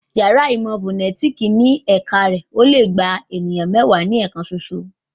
Yàrá ìmọ̀ fọ̀nẹ́tìkì ní ẹ̀ka rẹ̀ ò le gba èèyàn mẹ́wàá ní ẹ̀kan soso